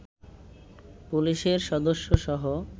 পুলিশের সদস্যসহ